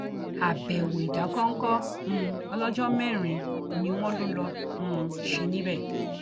àbẹwò ìdákọńkọ um ọlọjọ mẹrin ni wọn lọ lọọ um ṣe níbẹ